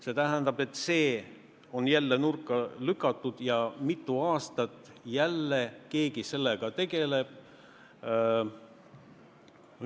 See tähendab, et see on jälle nurka lükatud ja mitu aastat jälle keegi sellega tegeleb.